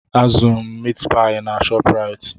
A zụeu m miit paị na Shopraịt.